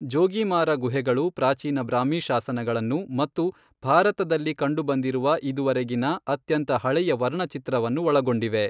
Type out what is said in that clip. ಜೋಗೀಮಾರಾ ಗುಹೆಗಳು ಪ್ರಾಚೀನ ಬ್ರಾಹ್ಮಿ ಶಾಸನಗಳನ್ನು ಮತ್ತು ಭಾರತದಲ್ಲಿ ಕಂಡುಬಂದಿರುವ ಇದುವರೆಗಿನ ಅತ್ಯಂತ ಹಳೆಯ ವರ್ಣಚಿತ್ರವನ್ನು ಒಳಗೊಂಡಿವೆ.